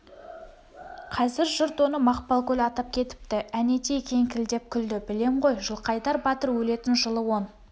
қазір жұрт оны мақпалкөл атап кетіпті әнетей кеңкілдеп күлді білем ғой жылқайдар батыр өлетін жылы он